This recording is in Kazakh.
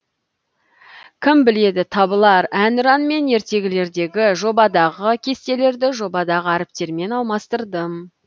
кім біледі табылар әнұран мен ертегілердегі жобадағы кестелерді жобадағы әріптермен алмастырдым